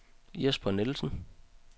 Jesper Nielsen